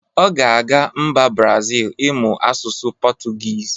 Ọ ga-aga mba brazil ịmụ asụsụ pọtugiz